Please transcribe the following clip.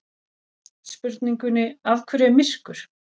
Spurningunni Af hverju er myrkur?